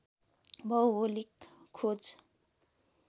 भौगोलिक खोज